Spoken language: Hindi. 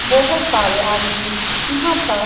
बोहोत सारे आदमी यहां पर --